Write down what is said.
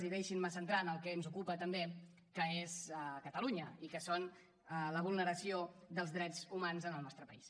i deixin me centrar en el que ens ocupa també que és catalunya i que és la vulneració dels drets humans al nostre país